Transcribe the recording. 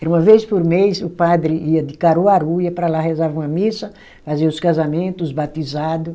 Era uma vez por mês, o padre ia de Caruaru, ia para lá, rezava uma missa, fazia os casamento, os batizado.